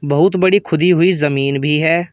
बहुत बड़ी खुदी हुई जमीन भी है।